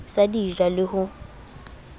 sa di ja le ho